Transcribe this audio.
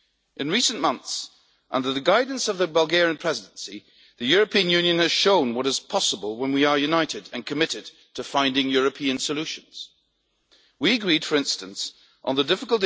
In recent months, under the guidance of the Bulgarian Presidency, the European Union has shown what is possible when we are united and committed to finding European solutions. We agreed, for instance, on the difficult issue of the Posted Workers Directive, thanks in large part to this House.